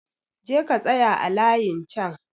Je ka tsaya a layin chan!